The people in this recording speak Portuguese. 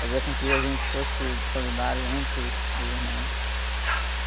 Fazia com que a gente fosse solidário entre os, os irmãos, né?